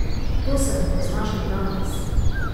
To se mi pozna še danes.